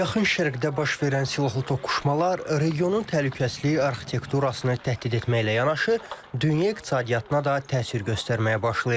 Yaxın Şərqdə baş verən silahlı toqquşmalar regionun təhlükəsizliyi arxitekturasını təhdid etməklə yanaşı, dünya iqtisadiyyatına da təsir göstərməyə başlayıb.